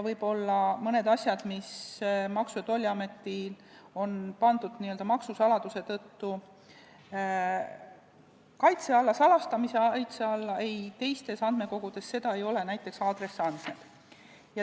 Võib-olla mõnda asja, mis on Maksu- ja Tolliametil pandud maksusaladuse tõttu salastamise kaitse alla, teistes andmekogudes ei ole, näiteks aadressiandmed.